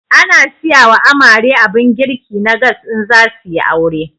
Ana siyawa amare abun girki na gas in zasuyi aure